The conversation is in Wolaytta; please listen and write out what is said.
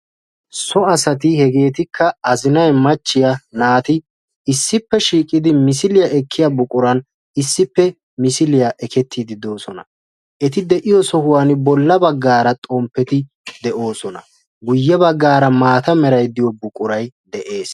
So asati hegeetikka azinay, machchiya, naati issippe shiiqidi misiliya ekkiya buquran issippe misiliya ekettiiddi doosona. Eti de'iyo sohuwan bolla baggaara xomppeti de'oosona. Guyye baggaara maata merayi diyo buqurayi de'es.